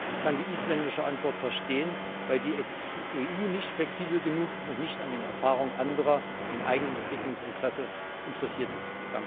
Ich kann die isländische Antwort verstehen, weil die EU nicht flexibel genug und nicht an den Erfahrungen anderer im eigenen Entwicklungsinteresse interessiert ist.